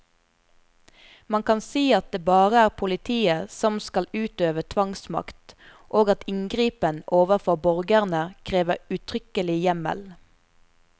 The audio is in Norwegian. Man kan si at det bare er politiet som skal utøve tvangsmakt, og at inngripen overfor borgerne krever uttrykkelig hjemmel.